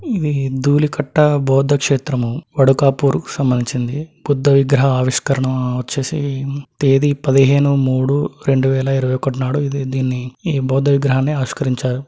ఇది దూళి కట్ట బౌద్ధ క్షేత్రము వాడకపూర్ సంబంధించింది బుద్ధ విగ్రహ ఆవిష్కరణ వచ్చేసి తేదీ పదిహేను మూడు రెండు వేల ఇరవై ఒకటి నాడు దీన్ని ఈ బౌద్ధ విగ్రహాన్ని ఆవిష్కరించారు.